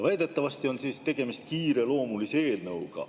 Väidetavasti on tegemist kiireloomulise eelnõuga.